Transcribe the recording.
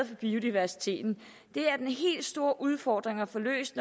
for biodiversiteten det er den helt store udfordring at få løst